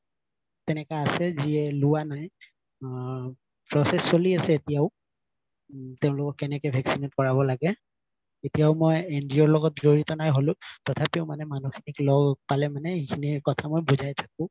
ত্নেকা আছে যিয়ে লোৱা নাই আ process চলি আছে এতিয়াও তেওঁলোকক কেনেকে vaccinate কৰাব লাগে এতিয়াও মই NGO ৰ লগত জৰিত নাই হলো তথাপিও মানে মানুহ খিনি লগ পালে মানে এইখিনি কথা বুজাই থাকো